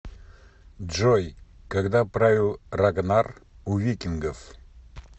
джой когда правил рагнар у викингов